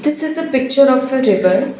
this is a picture of a river.